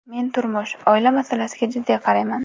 Men turmush, oila masalasiga jiddiy qarayman.